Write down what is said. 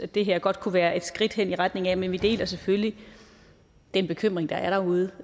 det her godt kunne være et skridt hen i retning af men vi deler selvfølgelig den bekymring der er derude